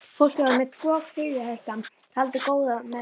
Fólkið var með tvo klyfjahesta og tjaldið góða meðferðis.